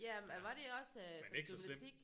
Ja men var det også som gymnastik